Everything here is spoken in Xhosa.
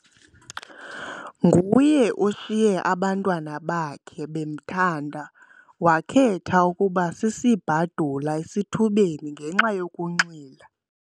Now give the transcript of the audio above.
Nguye oshiye abantwana bakhe bemthanda wakhetha ukuba sisibhadula esithubeni ngenxa yokunxila.